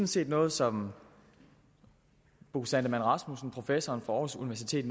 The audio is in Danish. set noget som bo sandemann rasmussen professor fra aarhus universitet